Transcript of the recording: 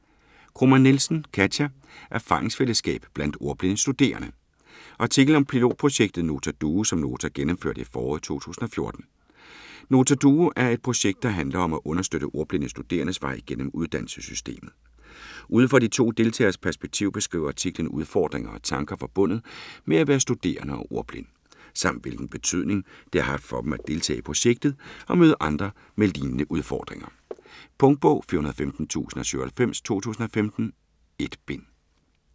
Kromann Nielsen, Katia: Erfaringsfællesskab blandt ordblinde studerende Artikel om pilotprojektet Nota Duo som Nota gennemførte i foråret 2014. Nota Duo er et projekt, der handler om at understøtte ordblinde studerendes vej gennem uddannelsessystemet. Ud fra de to deltageres perspektiv beskriver artiklen udfordringer og tanker forbundet med at være studerende og ordblind, samt hvilken betydning det har haft for dem at deltage i projektet og møde andre med lignende udfordringer. Punktbog 415097 2015. 1 bind.